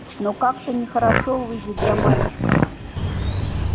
но как-то нехорошо выйдет для мальчика